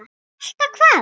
Elta hvað?